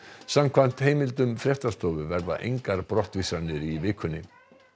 samkvæmt heimildum fréttastofu verða engar brottvísanir í vikunni